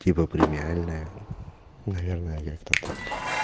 типа премиальная наверное как-то так